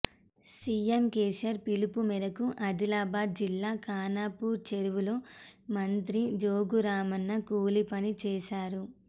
CM KCR పిలుపు మేరకు ఆదిలాబాద్ జిల్లా ఖానాపూర్ చెరువులో మంత్రి జోగురామన్న కూలీపని చేశారు